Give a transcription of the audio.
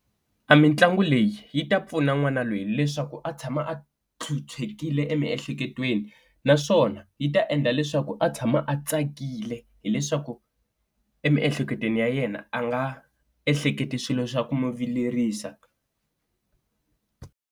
A mitlangu leyi yi ta pfuna n'wana loyi leswaku a tshama a phyuphyekile emiehleketweni, naswona yi ta endla leswaku a tshama a tsakile hileswaku emiehleketweni ya yena a nga ehleketi swilo swa ku n'wi vilerisa.